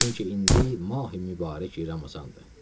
Çünki indi Mahi Mübarək Ramazandır.